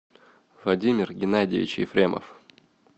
владимир геннадьевич ефремов